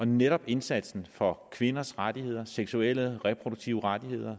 netop indsatsen for kvinders rettigheder seksuelle reproduktive rettigheder